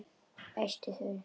Æsti þau.